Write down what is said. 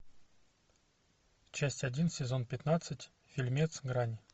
часть один сезон пятнадцать фильмец грань